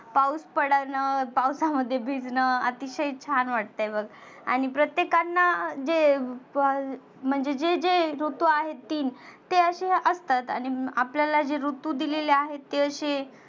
पाऊस पडनं पावसामध्ये भिजनं आतीशय छान वाटतं बघ. आणि प्रत्येकांना जे पाल म्हणजे जे ऋतू आहेत तीन ते असे असतात. आणि आपल्याला जे ऋतू दिलेले आहेत ते असे